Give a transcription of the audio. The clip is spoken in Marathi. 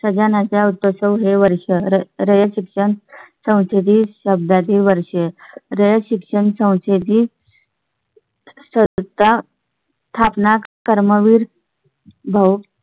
सजणा चा उत्सव हे वर्ष रयत शिक्षण संस्थेतील शब्दा ची वर्षे रयत शिक्षण संस्थेची . सत्ता स्थापना कर्मवीर भाउ